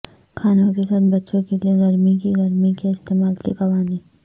کھانوں کے ساتھ بچوں کے لئے گرمی کی گرمی کے استعمال کے قوانین